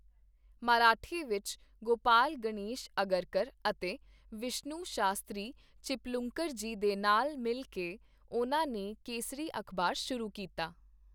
ਮਰਾਠੀ ਵਿੱਚ ਗੋਪਾਲ ਗਣੇਸ਼ ਅਗਰਕਰ ਅਤੇ ਵਿਸ਼ਨੁ ਸ਼ਾਸਤਰੀ ਚਿਪਲੁੰਕਰ ਜੀ ਦੇ ਨਾਲ ਮਿਲ ਕੇ ਉਨ੍ਹਾਂ ਨੇ ਕੇਸਰੀ ਅਖ਼ਬਾਰ ਸ਼ੁਰੂ ਕੀਤਾ।